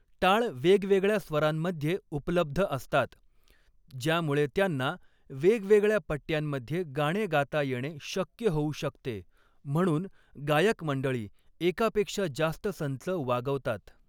टाळ वेगवेगळ्या स्वरांमध्ये उपलब्ध असतात, ज्यामुळे त्यांना वेगवेगळ्या पट्ट्यांमध्ये गाणे गाता येणे शक्य होऊ शकते, म्हणून गायकमंडळी एकापेक्षा जास्त संच वागवतात.